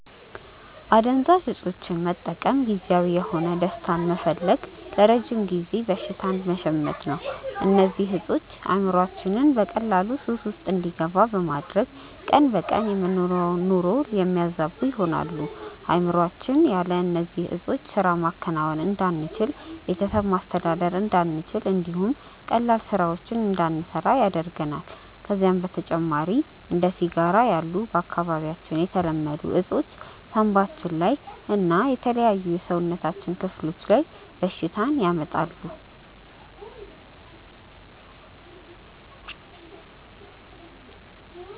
አደንዛዥ እፆችን መጠቀም ጊዜያዊ የሆነ ደስታን በመፈለግ ለረጅም ጊዜ በሽታን መሸመት ነው። እነዚህ እፆች አእምሮአችንን በቀላሉ ሱስ ውስጥ እንዲገባ በማድረግ ቀን በቀን የምንኖረውን ኑሮ የሚያዛቡ ይሆናሉ። አእምሮአችን ያለ እነዚህ ዕጾች ስራ ማከናወን እንዳንችል፣ ቤተሰብ ማስተዳደር እንዳንችል እንዲሁም ቀላል ስራዎችን እንዳንሰራ ያደርገናል። ከዛም በተጨማሪ እንደ ሲጋራ ያሉ በአካባቢያችን የተለመዱ እፆች ሳንባችን ላይ እና የተለያዩ የሰውነታችን ክፍሎች ላይ በሽታን ያመጣሉ።